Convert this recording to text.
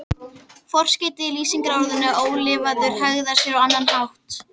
Forskeytið í lýsingarorðinu ólifaður hegðar sér á annan hátt.